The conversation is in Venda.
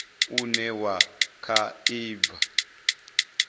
une wa kha i bva